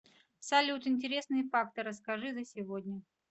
салют интересные факты расскажи за сегодня